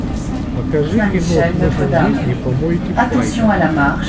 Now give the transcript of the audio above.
покажи кино смысл жизни по монти пайтону